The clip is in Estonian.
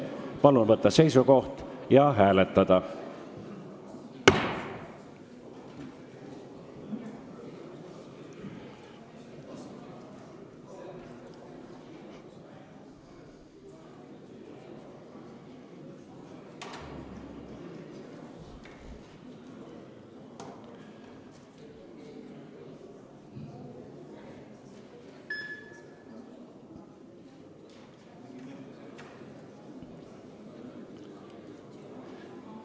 Palun võtta seisukoht ja hääletada!